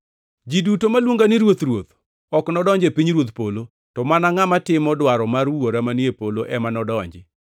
“Ji duto ma luonga ni, ‘Ruoth, Ruoth,’ ok nodonji e pinyruodh polo, to mana ngʼama timo dwaro mar Wuora manie polo ema nodonji.